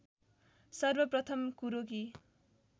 सर्वप्रथम कुरो कि